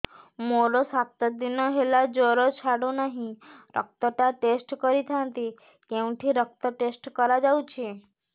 ମୋରୋ ସାତ ଦିନ ହେଲା ଜ୍ଵର ଛାଡୁନାହିଁ ରକ୍ତ ଟା ଟେଷ୍ଟ କରିଥାନ୍ତି କେଉଁଠି ରକ୍ତ ଟେଷ୍ଟ କରା ଯାଉଛି